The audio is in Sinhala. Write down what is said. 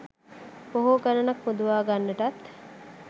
බොහෝ ගණනක් මුදවා ගන්නටත්